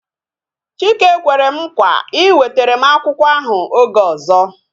Chike kwere m nkwa iwetere m akwụkwọ ahụ oge ọzọ